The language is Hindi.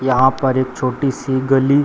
यहां पर एक छोटी-सी गली --